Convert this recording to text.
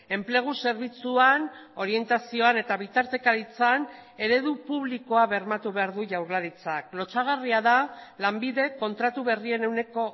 enplegu zerbitzuan orientazioan eta bitartekaritzan eredu publikoa bermatu behar du jaurlaritzak lotsagarria da lanbidek kontratu berrien ehuneko